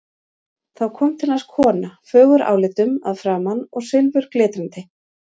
Þá kom til hans kona, fögur álitum að framan og silfurglitrandi.